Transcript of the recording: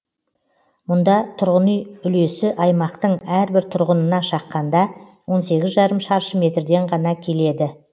мұнда тұрғын үй үлесі аймақтың әрбір тұрғынына шаққанда он сегіз жарым шаршы метрден ғана келеді